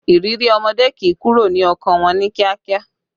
Ìrírí ọmọdé kì í kúrò ní ọkàn wọn ní kíákíá